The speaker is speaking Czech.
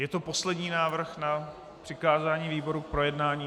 Je to poslední návrh na přikázání výboru k projednání?